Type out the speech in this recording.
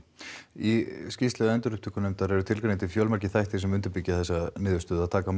í skýrslu endurupptökunefndar eru tilgreindir fjölmargir þættir sem undirbyggja þá niðurstöðu að taka